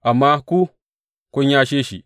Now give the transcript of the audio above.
Amma ku kun yashe shi.